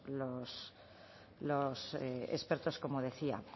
los expertos como decía